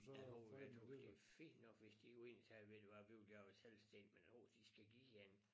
Der nogen der tøs det fint nok hvis de jo egentlig sagde ved du hvad vi vil gerne være selvstændige men uh de skal give en